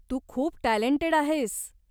तू खूप टॅलंटेड आहेस.